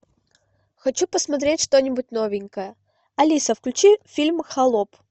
хочу посмотреть что нибудь новенькое алиса включи фильм холоп